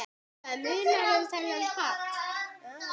Helga: Munar um þennan pall?